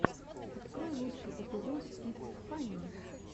открой лучший эпизод итс фанне